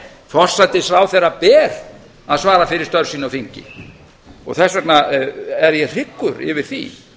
forsætisráðherra ber að svara fyrir störf sín á þingi þess vegna er ég hryggur yfir því